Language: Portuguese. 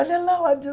Olha lá o